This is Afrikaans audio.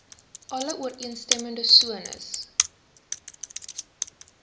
alle ooreenstemmende sones